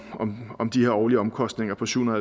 om de årlige omkostninger på syv